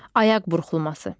Ayaq burxulması.